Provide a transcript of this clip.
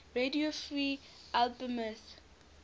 radio free albemuth